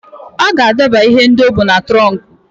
Ọ ga-adọba ihe ndị o bu n'ime trọnkụ.